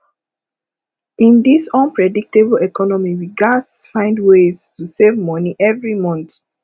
in dis unpredictable economy we gats find ways to save money every month